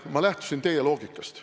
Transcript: Ma lähtusin teie loogikast.